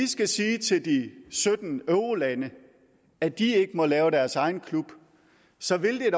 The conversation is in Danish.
skal sige til de sytten eurolande at de ikke må lave deres egen klub så ville det